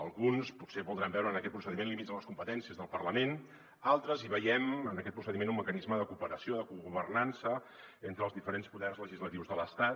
alguns potser voldran veure en aquest procediment límits a les competències del parlament altres hi veiem en aquest procediment un mecanisme de cooperació de cogovernança entre els diferents poders legislatius de l’estat